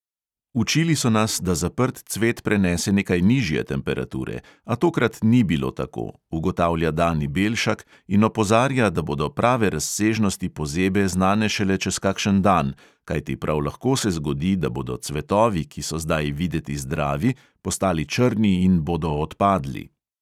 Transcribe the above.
Učili so nas, da zaprt cvet prenese nekaj nižje temperature, a tokrat ni bilo tako, ugotavlja dani belšak in opozarja, da bodo prave razsežnosti pozebe znane šele čez kakšen dan, kajti prav lahko se zgodi, da bodo cvetovi, ki so zdaj videti zdravi, postali črni in bodo odpadli.